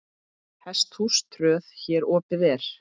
Hesthús tröð hér opið er.